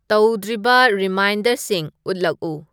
ꯇꯧꯗ꯭ꯔꯤꯕ ꯔꯤꯃꯥꯏꯟꯗꯔꯁꯤꯡ ꯎꯠꯂꯛꯎ